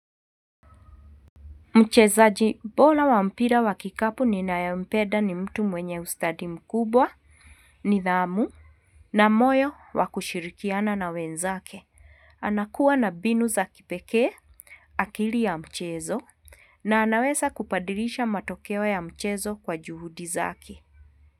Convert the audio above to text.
Mchezaji, bora wa mpira wa kikapu ninayempenda ni mtu mwenye ustadi mkubwa, nidhamu, na moyo wa kushirikiana na wenzake. Anakua na mbinu za kipekee, akili ya mchezo, na anaweza kubadilisha matokeo ya mchezo kwa juhudi zake.